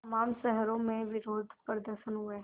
तमाम शहरों में विरोधप्रदर्शन हुए